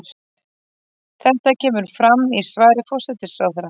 Þetta kemur fram í svari forsætisráðherra